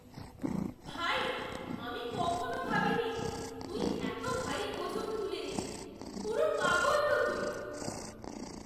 ভাই! আমি কখনও ভাবিনি তুই এত ভারী ওজন তুলে নিবি, পুরো পাগল তো তুই!!